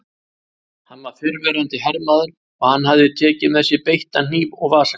Hann var fyrrverandi hermaður og hann hafði tekið með sér beittan hníf og vasaljós.